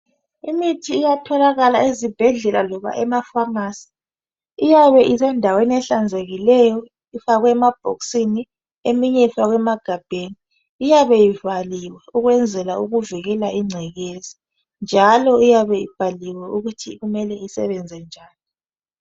imithi etholakala ezibhedlela loba ama famasi iyabe isendaweni ehlanzekileyo kufakwe emabhokisini lasemagabheni ukuvikela incekeza njalo iyabe ibhaliwe ukuthi sebenza njani